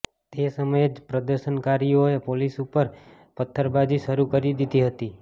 તે સમયે જ પ્રદર્શનકારીઓએ પોલીસ ઉપર પત્થરબાજી શરૂ કરી દીધી હતી